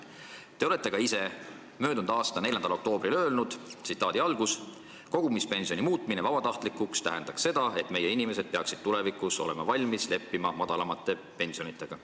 Te olete ka ise möödunud aasta 4. oktoobril öelnud, et kogumispensioni muutmine vabatahtlikuks tähendaks seda, et meie inimesed peaksid tulevikus olema valmis leppima madalamate pensionitega.